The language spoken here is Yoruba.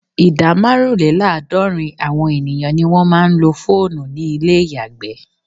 Ìdá márùnlélàádọ́rin àwọn ènìyàn ni wọ́n máa ń lo fóònù ní ilé ìyàgbẹ́.